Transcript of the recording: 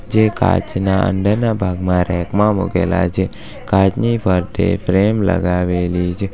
જે કાચના અંદરના ભાગમાં રૅક માં મુકેલા છે કાચની ફરતે ફ્રેમ લગાવેલી છે.